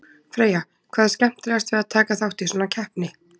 Freyja, hvað er skemmtilegast við að taka þátt í svona keppni?